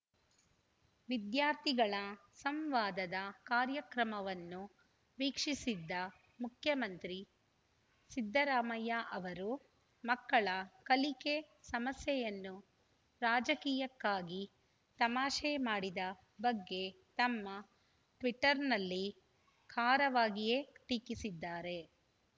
ವಿದ್ಯಾರ್ಥಿಗಳ ಸಂವಾದದ ಕಾರ್ಯಕ್ರಮವನ್ನು ವೀಕ್ಷಿಸಿದ್ದ ಮುಖ್ಯಮಂತ್ರಿ ಸಿದ್ದರಾಮಯ್ಯ ಅವರು ಮಕ್ಕಳ ಕಲಿಕೆ ಸಮಸ್ಯೆಯನ್ನು ರಾಜಕೀಯಕ್ಕಾಗಿ ತಮಾಷೆ ಮಾಡಿದ ಬಗ್ಗೆ ತಮ್ಮ ಟ್ವೀಟರ್‌ನಲ್ಲಿ ಖಾರವಾಗಿಯೇ ಟೀಕಿಸಿದ್ದಾರೆ